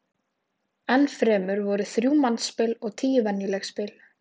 enn fremur voru þrjú mannspil og tíu venjuleg spil